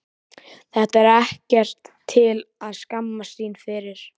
Þetta er ekkert til að skammast sín fyrir.